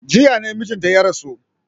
Jiya ne mijinta ya rasu.